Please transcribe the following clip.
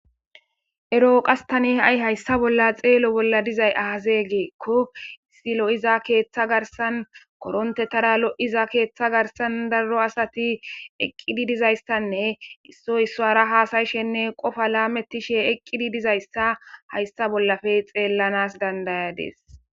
Ero qas tan haysa bolla xelo bolla dizay aze gikon issi lo'iza ketha garsan korontera lo'iza ketha garsan daro asati eqid dizaysanne issoy isara hasa'ishene Qopa lametishe dizaysa haysa bollappe xelanas danda'adis.